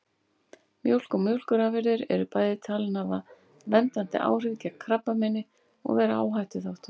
Mjólk og mjólkurafurðir eru bæði talin hafa verndandi áhrif gegn krabbameini og vera áhættuþáttur.